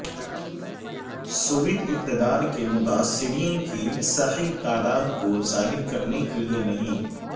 Soviet اقتدار کے متاثرین کی صحیح تعداد کو ظاہر کرنے کے لئے نہیں